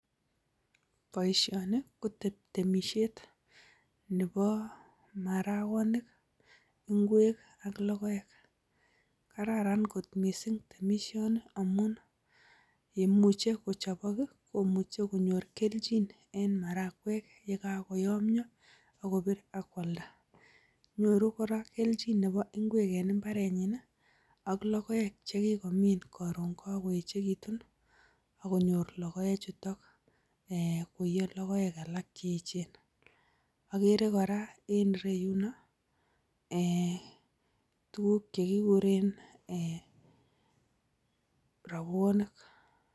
Boishoni ko temishet nebo marakonik ngwek ak logoek. Kararan kot mising temishoni amun, ye imuch kochobok komuche konyor kelchin en marakwek ye kagoyomyo ak kobir ak koalda. Nyoru kora kelchin nebo ngwek en mbarenyin ak logoek che kigomin koron koechegitun agonyor logoechuton koiiyo logoek alak che echen. Agere kora en ireyuno tuguk che kiguren robwonik.